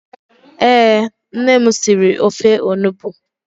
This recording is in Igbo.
Ee, nne m siri ofe onugbu.